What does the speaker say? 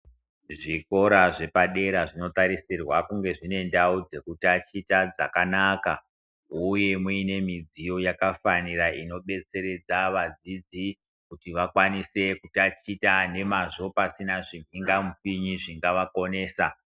Zvikora zvepadera zvinotarisirwa kunge zvine zvine ndau dzekutaticha dzakanaka uye muine midziyo yakafanira inobetseredza vadzidzi kuti vakwanise kutaticha nemwazvo pasina zvibingamupinyi zvingavakonesa.